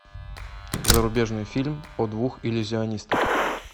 зарубежный фильм о двух иллюзионистах